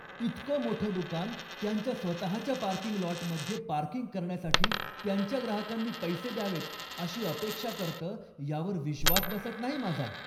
इतकं मोठं दुकान त्यांच्या स्वतःच्या पार्किंग लॉटमध्ये पार्किंग करण्यासाठी त्यांच्या ग्राहकांनी पैसे द्यावेत अशी अपेक्षा करतं, यावर विश्वास बसत नाही माझा!